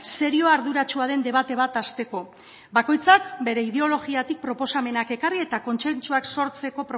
serioa arduratsua den debate bat hasteko bakoitzak bere ideologiatik proposamenak ekarri eta kontsentsuak sortzeko